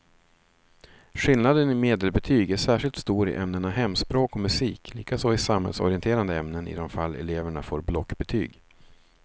Skillnaden i medelbetyg är särskilt stor i ämnena hemspråk och musik, likaså i samhällsorienterande ämnen i de fall eleverna får blockbetyg.